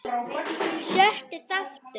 Sjötti þáttur